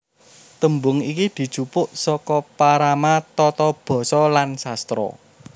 Tembung iki dijupuk saka parama tata basa lan sastra